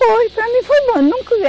Foi, para mim foi bom. Eu nunca